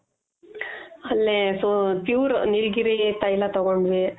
ಅಲ್ಲೆ so pure ನೀಲಗಿರಿ ತೈಲ ತೊಗೊಂಡ್ವಿ.